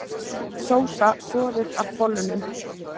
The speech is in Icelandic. Sósa soðið af bollunum